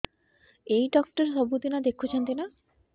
ଏଇ ଡ଼ାକ୍ତର ସବୁଦିନେ ଦେଖୁଛନ୍ତି ନା